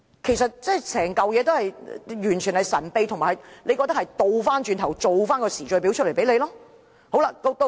其實，整件事情完全神秘進行，亦令人覺得政府後來才做出時序表給大家。